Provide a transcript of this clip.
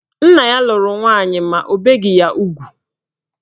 Nna ya lụrụ nwaanyị ma o beghi ya ugwu.